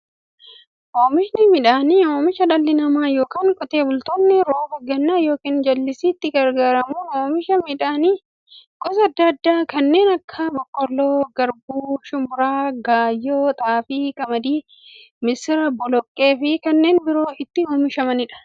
Oomishni midhaanii, oomisha dhalli namaa yookiin Qotee bultoonni roba gannaa yookiin jallisiitti gargaaramuun oomisha midhaan gosa adda addaa kanneen akka; boqqoolloo, garbuu, shumburaa, gaayyoo, xaafii, qamadii, misira, boloqqeefi kanneen biroo itti oomishamiidha.